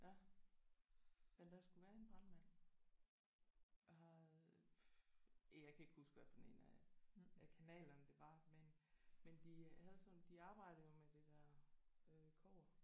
Ja. Men der skulle være en brandmand og har øh jeg kan ikke huske hvad for en af af kanalerne det var men men de havde sådan de arbejdede jo med det der øh kobber